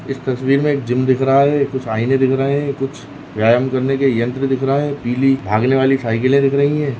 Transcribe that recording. इस तस्वीर मे एक जिम दिख रहा है कुछ आएने दिख रहे है कुछ व्यायाम करने के यंत्र दिख रहा है पीली भागनेवाली साइकलें दिख रही है।